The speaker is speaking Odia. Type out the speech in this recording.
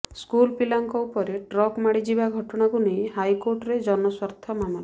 ସ୍କୁଲ ପିଲାଙ୍କ ଉପରେ ଟ୍ରକ ମାଡ଼ିଯିବା ଘଟଣାକୁ ନେଇ ହାଇକୋର୍ଟରେ ଜନସ୍ୱାର୍ଥ ମାମଲା